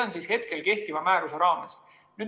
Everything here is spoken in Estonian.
Nii on kehtiva määruse raames.